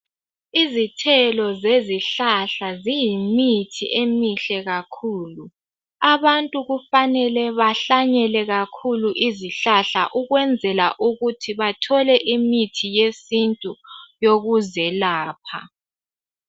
Izithelo zezihlahla ziyimithi emihle kakhulu abantu kufanele bahlanyele kakhulu izihlahla ukwenzela ukuthi bathole imithi yesintu yokuzelapha.